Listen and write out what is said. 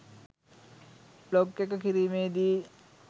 blog එක කිරීමේදී